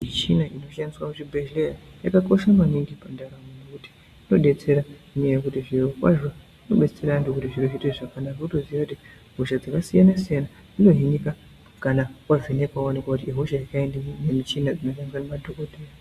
Michina ino shandiswa muzvi bhedhlera yaka kosha maningi pa ntaramo nekuti ino betsera neya yekuti zviro kwazvo inobetsera antu kuti zviro zviite zvakanaka wotoziya kuti hosha dzaka siyana siyani dzino hinika kana wa vhenekwa waonekwa kuti ihosha yekaindiyi ne mishina dzino shandiswa ne madhokoteya.